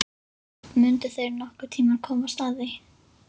Mundu þeir nokkurn tíma komast að því?